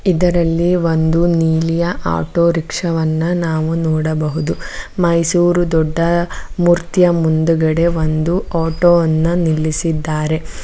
ಇದರಲ್ಲಿ ಒಂದು ನೀಲಿಯ ಆಟೋ ರಿಕ್ಷಾ ವನ್ನ ನಾವು ನೋಡಬಹುದು ಮೈಸೂರು ದೊಡ್ಡ ಮೂರ್ತಿಯ ಮುಂದಗಡೆ ಒಂದು ಆಟೋ ವನ್ನ ನಿಲ್ಲಿಸಿದ್ದಾರೆ.